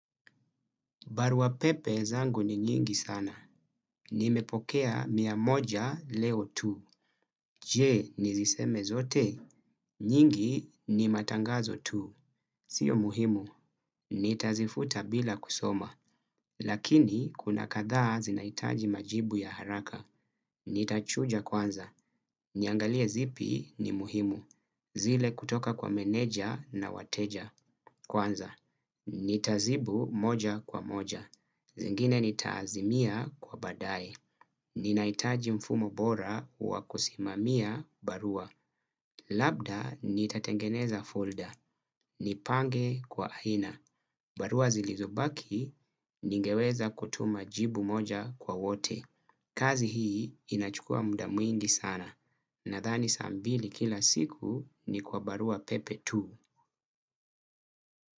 Barua pepe zangu ni nyingi sana. Nimepokea mia moja leo tu. Je, niziseme zote. Nyingi ni matangazo tu. Sio muhimu. Nitazifuta bila kusoma. Lakini kuna kadhaa zinahitaji majibu ya haraka. Nitachuja kwanza. Niangalie zipi ni muhimu. Zile kutoka kwa meneja na wateja. Kwanza. Nitazibu moja kwa moja. Zingine nitaazimia kwa baadaye. Ninahitaji mfumo bora wa kusimamia barua. Labda nitatengeneza folder. Nipange kwa aina. Barua zilizobaki ningeweza kutuma jibu moja kwa wote. Kazi hii inachukua muda mwingi sana. Nadhani saa mbili kila siku ni kwa barua pepe tu.